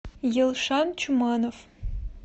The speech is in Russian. елшан чуманов